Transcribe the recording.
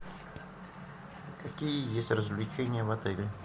какие есть развлечения в отеле